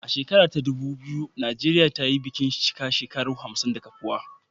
A shekara ta ɗubu biyu, Najeriya ta yi bikin cika shekaru hamsin na kafuwa